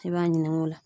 I b'a ɲininka o la